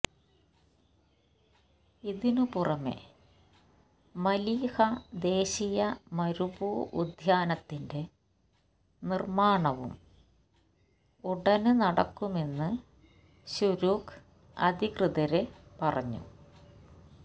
ഇതിന് പുറമെ മലീഹ ദേശീയ മരുഭൂ ഉദ്യാനത്തിന്റെ നിര്മാണവും ഉടന് നടക്കുമെന്ന് ശുരൂക്ക് അധികൃതര് പറഞ്ഞു